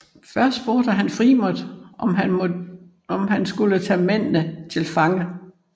Først spurgte han Frémont om han skulle tage mændene til fange